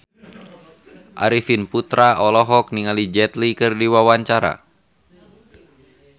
Arifin Putra olohok ningali Jet Li keur diwawancara